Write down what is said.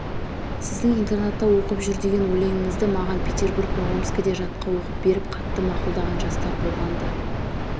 сіздің интернатта оқып жүр деген өлеңіңізді маған петербург пен омскіде жатқа оқып беріп қатты мақұлдаған жастар болған-ды